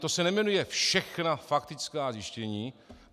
To se nejmenuje Všechna faktická zjištění.